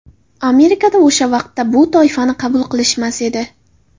Amerikada o‘sha vaqtda bu toifani qabul qilishmas edi.